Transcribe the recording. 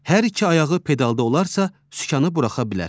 Hər iki ayağı pedalda olarsa, sükanı buraxa bilər.